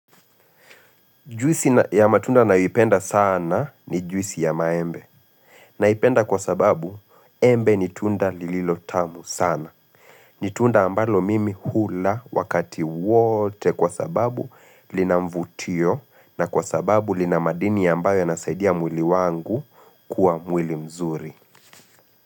Juisi ya matunda naipenda sana ni juisi ya maembe. Naipenda kwa sababu embe ni tunda lililo tamu sana. Ni tunda ambalo mimi hula wakati wote kwa sababu lina mvutio na kwa sababu lina madini ambayo yanasaidia mwili wangu kuwa mwili mzuri.